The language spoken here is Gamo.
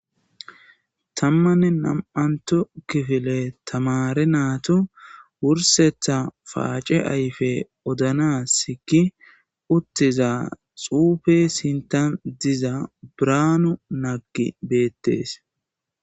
tammanne nam7anto kifile tamare naatu wursetha paace ayfe odanasi gi uttiza xuufe sintan diza braanu naggi beettees